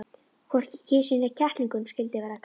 Hvorki kisu né kettlingunum skyldi verða kalt.